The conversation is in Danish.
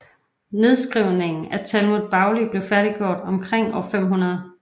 Nedskrivningen af Talmud Bavli blev færdiggjort omkring år 500